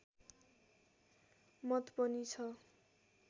मत पनि छ